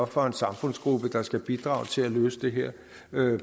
for en samfundsgruppe der skal bidrage til at løse det her